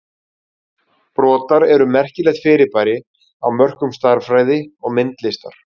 Brotar eru merkilegt fyrirbæri á mörkum stærðfræði og myndlistar.